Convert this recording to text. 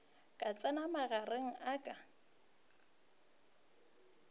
ka tsenago magareng a ka